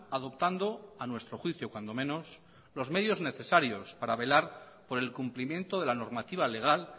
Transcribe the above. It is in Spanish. adoptando a nuestro juicio cuando menos los medios necesarios para velar por el cumplimiento de la normativa legal